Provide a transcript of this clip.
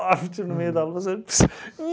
meio da louça.